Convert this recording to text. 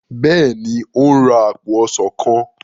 béèni o n rà apo ọsán kán.